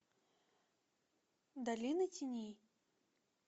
долина теней